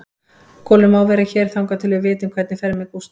Kolur má vera hér þangað til við vitum hvernig fer með Gústa.